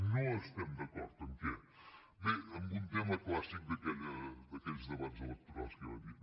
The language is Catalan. no estem d’acord en què bé en un tema clàssic d’aquells debats electorals que ja vam dir